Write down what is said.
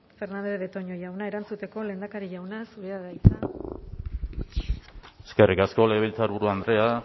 fernandez de betoño jauna erantzuteko lehendakari jauna zurea da hitza eskerrik asko legebiltzarburu andrea